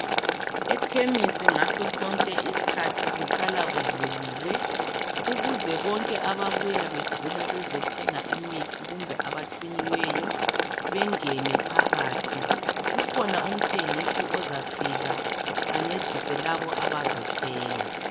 Ikhemisi ngaso sonke isikhathi kuhlala kuvuliwe ukuze bonke ababuya begula bezothenga imithi kumbe abathunyiweyo bengene phakathi kukhona umthengisi ozafika ancedise labo abazothenga